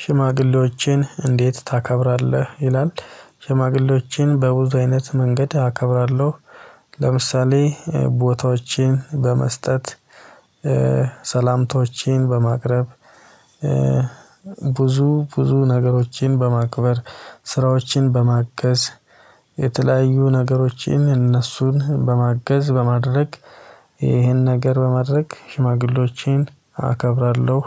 ሽማግሌዎችን እንዴት ታከብራለህ? ይላል ሽማግሌዎችን በብዙ አይነት መንገድ አከብራለሁ ለምሳሌ ቦታዎችን በመስጠት ሰላምታዎችን በማቅረብ ብዙ ብዙ ነገሮችን በማክበር ስራዎችን በማገዝ የተለያዩ ነገሮችን እነሱን በማገዝ በማድረግ ይህን ነገር በማድረግ ሽማግሌዎችን አከብራለሁ